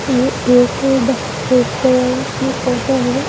ये एक रेस्टोरेंट की फोटो है।